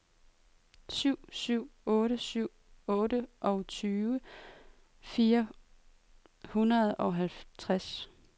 syv syv otte syv otteogtyve fire hundrede og treogtres